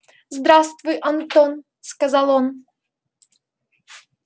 здравствуй антон сказал он